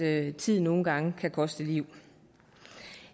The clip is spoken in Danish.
at tid nogle gange kan koste liv